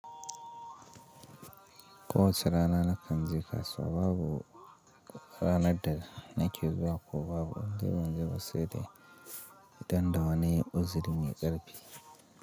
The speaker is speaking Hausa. Ko wace rana na kan je kasuwa, babu ranan da na ke zuwa ko babu indai ban je ba sai dai idan da wani uziri me ƙarfi.